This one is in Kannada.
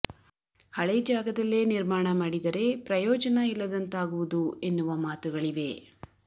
ಹಳೆ ಜಾಗದಲ್ಲೇ ನಿರ್ಮಾಣ ಮಾಡಿ ದರೆ ಪ್ರಯೋಜನ ಇಲ್ಲದಂತಾ ಗುವುದು ಎನ್ನುವ ಮಾತುಗಳಿವೆ